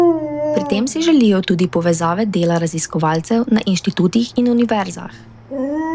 Pri tem si želijo tudi povezave dela raziskovalcev na inštitutih in univerzah.